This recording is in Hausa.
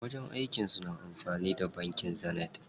Wajen aikin su na amfani da bankin Zenith.